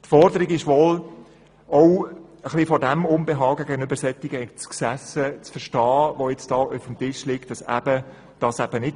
Die Forderung, die auf dem Tisch liegt, ist wohl auch aus dem Unbehagen gegenüber solchen Exzessen zu verstehen.